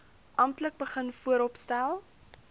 amptelik begin vooropstel